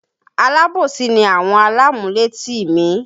Alábòsí ni àwọn alámúlétì mi